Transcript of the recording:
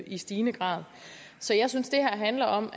i stigende grad så jeg synes det her handler om